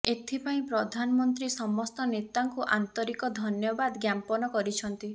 ଏଥିପାଇଁ ପ୍ରଧାନମନ୍ତ୍ରୀ ସମସ୍ତ ନେତାଙ୍କୁ ଆନ୍ତରିକ ଧନ୍ୟାବାଦ ଜ୍ଞାପନ କରିଛନ୍ତି